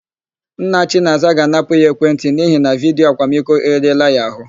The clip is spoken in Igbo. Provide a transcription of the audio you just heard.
Nna Chinaza ga-anapụ ya ekwentị n'ihi na vidiyo akwamiko eriela ya àhụ́.